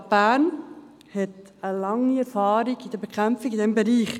Die Stadt Bern hat eine lange Erfahrung mit der Bekämpfung in diesem Bereich.